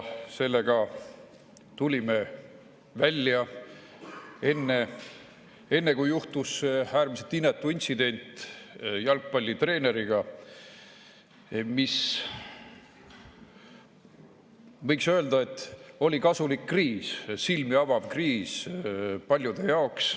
Sellega tulime välja enne, kui juhtus äärmiselt inetu intsident jalgpallitreeneriga, mis, võiks öelda, oli kasulik kriis, silmi avav kriis paljude jaoks.